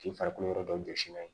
K'i farikolo yɔrɔ dɔ jɔsi n'a ye